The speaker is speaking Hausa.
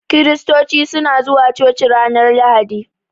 Kiristoci suna zuwa coci ranar Lahadi.